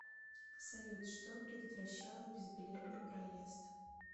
салют что предотвращало безбилетный проезд